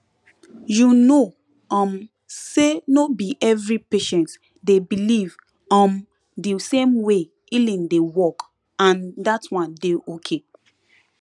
you know um say no be every patient dey believe um the same way healing dey workand that one dey okay